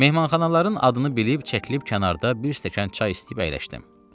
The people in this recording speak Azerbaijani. Mehmanxanaların adını bilib çəkilib kənarda bir stəkan çay istəyib əyləşdim.